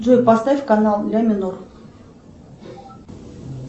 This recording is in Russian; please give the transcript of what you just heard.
джой поставь канал ля минор